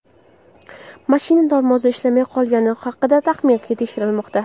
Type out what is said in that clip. Mashina tormozi ishlamay qolgani haqidagi taxmin tekshirilmoqda.